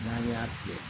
N'an y'a kɛ